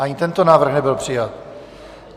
Ani tento návrh nebyl přijat.